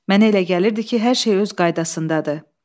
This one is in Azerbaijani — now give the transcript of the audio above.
Mənə elə gəlirdi ki, hər şey öz qaydasındadır.